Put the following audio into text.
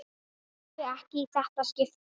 Brosti ekki í þetta skipti.